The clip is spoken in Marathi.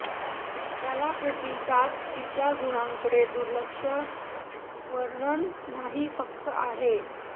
त्याला प्रतिसाद तिच्या गुणांकडे दुर्लक्ष वर्णन नाही फक्त आहे